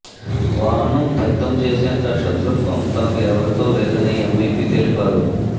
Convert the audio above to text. వాహనం దగ్ధం చేసేంత శతృత్వం తనకు ఎవరితో లేదని ఎంపిపి తెలిపారు